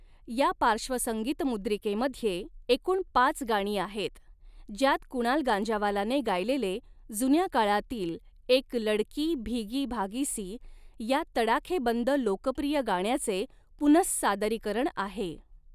या पार्श्वसंगीतमुद्रिकेमध्ये एकूण पाच गाणी आहेत, ज्यात कुणाल गांजावालाने गायलेले जुन्या काळातील एक लड़की भीगी भागीसी या तडाखेबंद लोकप्रिय गाण्याचे पुनहसादरीकरण आहे.